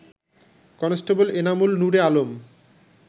constable Enamul Nure Alam